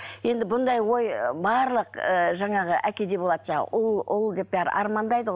енді бұндай ой ы барлық ы жаңағы әкеде болады жаңағы ұл ұл деп бәрі армандайды ғой